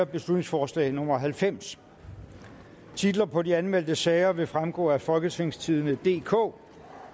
beslutningsforslag nummer b halvfems titlerne på de anmeldte sager vil fremgå af folketingstidende DK